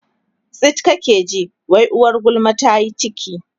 tsit kake ji wai uwar gulma tayi ciki